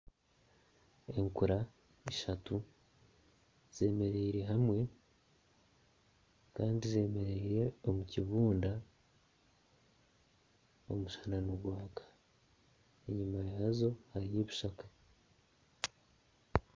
Enkura ishatu z'emereire hamwe kandi zemereire omu kibunda omushana nigwaka enyima yaazo hariyo ebishaka